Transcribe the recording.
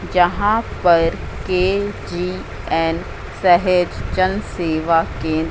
जहां पर के_जी_एन सहेज जन सेवा केंद्र--